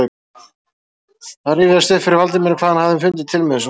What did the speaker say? Það rifjaðist upp fyrir Valdimari hvað hann hafði fundið til með þessu fólki.